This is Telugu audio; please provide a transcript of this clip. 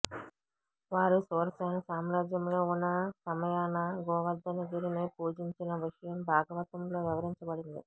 వారు శూరసేన సామ్రాజ్యంలో ఉన్న సమయాన గోవర్ధనగిరిని పూజించిన విషయం భాగవతంలో వివరించబడింది